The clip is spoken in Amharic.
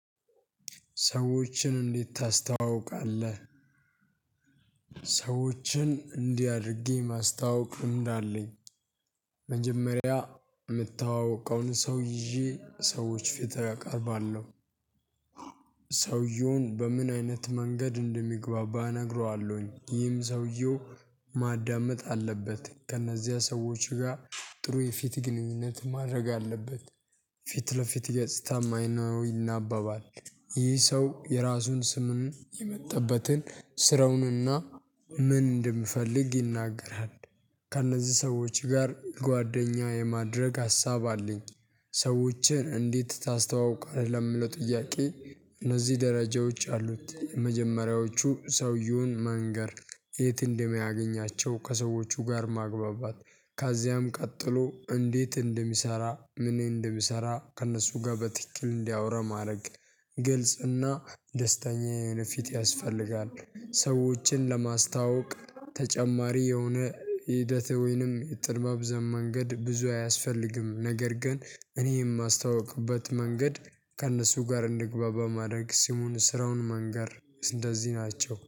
ሰዎችን እንዴት ታስተዋውቃለህ? ሰዎችን እንዲህ አድርጌ ማስታወቅ ልምድ አለኝ። መጀመሪያ የምተዋወቀውን ሰው ይዤ ሰዎች ፊት አቀርባለሁ። ሰውየውን በምን አይነት መንገድ እንደሚግባባ እነግረዋለሁኝ። ይህም ሰውየው ማዳመጥ አለበት ከእነዚያ ሰዎች ጋር ጥሩ የፊት ግንኙነት ማድረግ አለበት። ፊት ለፊት ገጽታ ይናባባል ይህ ሰው የራሱን ስምም የመጣበትን ስራውንና ምንድ እንደሚፈልግ ይናገራል። ከእነዚህ ሰዎች ጋር ጓደኛ የማድረግ ሀሳብ አለኝ። ሰዎችን እንዴት ታስተዋውቃለህ? ለምለው ጥያቄ። እነዚህ ደረጃዎች አሉት የመጀመሪያዎቹ ሰውየውን መንገር። የት እንደሚያገኛቸው ከሰዎቹ ጋር ማግባባት ካዚያም ቀጥሎ እንዴት እንደሚሰራ ምን እንደሚሰራ ከእነሱ ጋር በትክክል እንዲያወራ ማድረግ። ግልጽና ደስተኛ የሆነ ፊት ያስፈልጋል። ሰዎችን ለማስተዋወቅ ተጨማሪ የሆነ ሂደት ወይንም ጠምዛዛ መንገድ ብዙ አያስፈልግም። ነገር ግን እኔ የማስታውቅበት መንገድ ከእነሱ ጋር እንዲግባባ ማድረግ ስሙን ስራውን መንገር እንደዚህ ናቸው